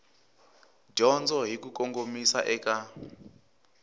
dyondzo hi ku kongomisa eka